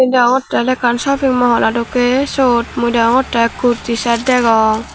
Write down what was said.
deyongotte ole ekkan shoping mall o dokke sot mui deyongotte kurti set degong.